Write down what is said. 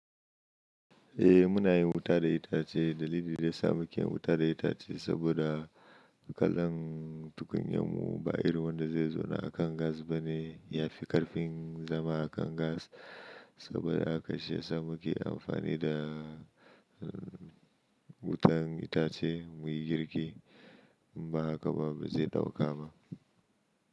Eh muna yin wuta da itace. Dalilin da ya samu kin yi wuta da itace saboda kalon tukunyan mu ba irin wanda zai zauna a kan gas bane. Ya fi ƙarfin zama a kan gas saboda haka shi ya sa muke amfani da wutan itace muyi girki. In ba haka ba ba zai dauka ba.